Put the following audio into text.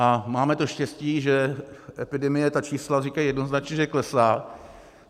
A máme to štěstí, že epidemie, její čísla říkají jednoznačně, že klesá.